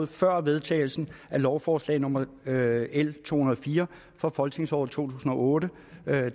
før vedtagelsen af lovforslag nummer l to hundrede og fire fra folketingsåret to tusind og otte